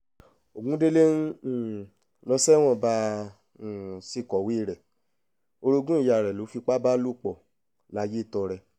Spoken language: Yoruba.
ogundélé ń um lọ sẹ́wọ̀n bá a um ṣe kọ̀wé rẹ̀ orogún ìyá rẹ̀ ló fipá bá lò pọ̀ layétọrẹ